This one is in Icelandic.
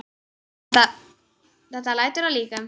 Þetta lætur að líkum.